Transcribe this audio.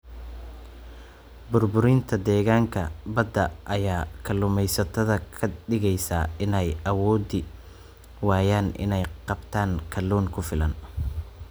Burburinta deegaanka badda ayaa kaluumaysatada ka dhigaysa inay awoodi waayaan inay qabtaan kalluun ku filan.